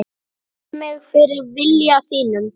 Beygi mig fyrir vilja þínum.